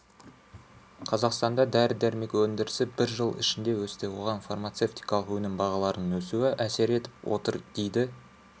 қазақстанда дәрі-дәрмек өндірісі бір жыл ішінде өсті оған фармацевтикалық өнім бағаларының өсуі әсер етіп отыр дейді